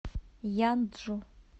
янджу